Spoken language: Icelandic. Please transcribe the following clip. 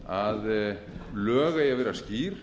að lög eigi að vera skýr